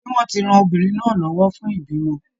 Ṣé wọ́n ti ran obìnrin náà lọ́wọ́ fún ìbímọ?